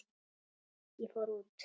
Ég fór út.